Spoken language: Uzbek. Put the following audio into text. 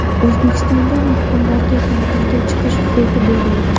O‘zbekistonda mahkumlarga ta’tilga chiqish huquqi berildi.